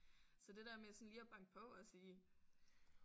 Så det der med sådan lige at banke på og sige